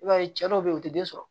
I b'a ye cɛ dɔw be yen u ti den sɔrɔ